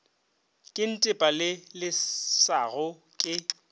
ke ntepa le lešago ke